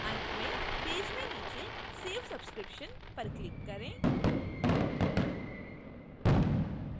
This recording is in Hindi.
अंत में पेज में नीचे save subscription पर click करें